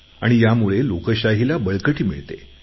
आणि यामुळे लोकशाहीला बळकटी मिळते